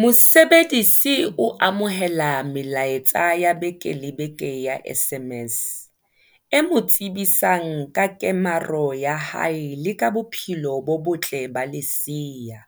Mosebedisi o amohela melaetsa ya beke le beke ya SMS, e mo tsebisang ka kemaro ya hae le ka bophelo bo botle ba lesea,